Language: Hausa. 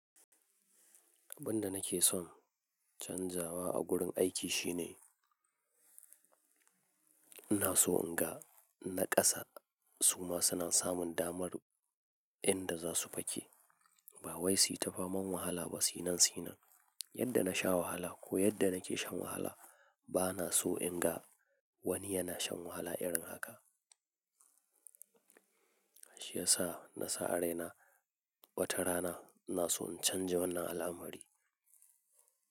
Abin da nake son canzawa a gurin aiki shine ina so in ga naƙasa suma suna samun damar inda za su fake. Ba wai su yi ta faman wahala ba sinan sinan. Yadda na sha wahala ko yadda nake shan wahala, ba na so in ga wani yana shan wahala irin haka. Shi ya sa na sa a raina watarana ina so in canja wannan al'amari.